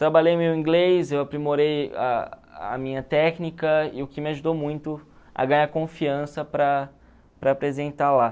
Trabalhei meu inglês, eu aprimorei a a minha técnica e o que me ajudou muito a ganhar confiança para para apresentar lá.